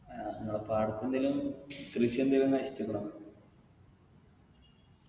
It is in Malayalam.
അഹ് ഇങ്ങളെ പാടത്തെന്തെലും കൃഷി എന്തേലും നശിച്ചിക്കണോ